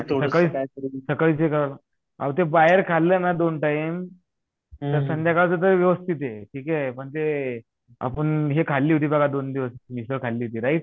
सकाळी ते एका आहो ते बाहेर खालना दोन टाइम तर संध्यकाळच तर व्यवस्थित हे म्हणजे आपुन हे खाली होती मिसळ खाली होती राईट